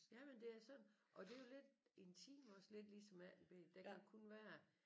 Jamen det er sådan og det er jo lidt intim også lidt ligesom 18b der kan jo kun være